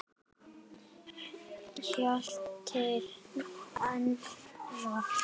Hjalti Enok.